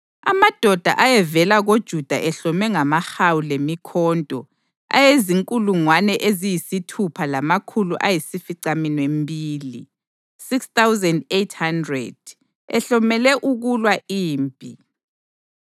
amadoda ayevela koJuda ehlome ngamahawu lemikhonto ayezinkulungwane eziyisithupha lamakhulu ayisificaminwembili (6,800) ehlomele ukulwa impi;